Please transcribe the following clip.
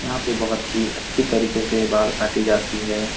यहाँ पे बहुत ही अच्छी तरीके से बाल काटी जाती है।